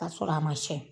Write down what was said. K'a sɔrɔ a ma cɛn